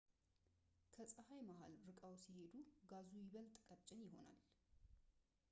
ከፀሐይ መሃል ርቀው ሲሄዱ ጋዙ ይበልጥ ቀጭን ይሆናል